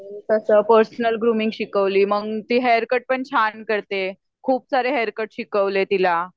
personal grooming शिकवली मग ती हेअरकट पण छान करते खूप सारे हेरकट शिकवले तिला